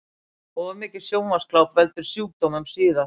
Of mikið sjónvarpsgláp veldur sjúkdómum síðar